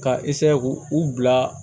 Ka k'u bila